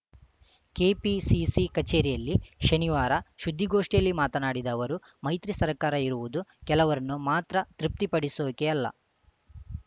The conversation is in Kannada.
ಕೆಪಿಸಿಸಿ ಕಚೇರಿಯಲ್ಲಿ ಶನಿವಾರ ಸುದ್ದಿಗೋಷ್ಠಿಯಲ್ಲಿ ಮಾತನಾಡಿದ ಅವರು ಮೈತ್ರಿ ಸರ್ಕಾರ ಇರುವುದು ಕೆಲವರನ್ನು ಮಾತ್ರ ತೃಪ್ತಿಪಡಿಸೋಕೆ ಅಲ್ಲ